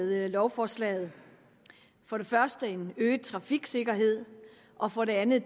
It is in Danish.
med lovforslaget for det første en øget trafiksikkerhed og for det andet